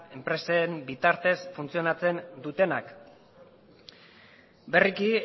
enpresen bitartez funtzionatzen dutenak berriki